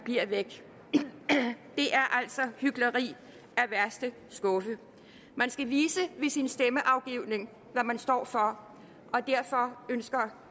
bliver væk det er altså hykleri af værste skuffe man skal vise ved sin stemmeafgivning hvad man står for og derfor ønsker